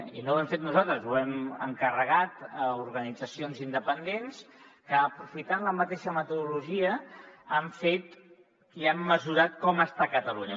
i no ho hem fet nosaltres ho hem encarregat a organitzacions independents que aprofitant la mateixa metodologia han mesurat com està catalunya